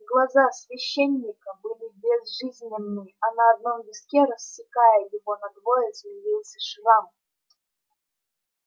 глаза священника были безжизненны а на одном виске рассекая его надвое змеился шрам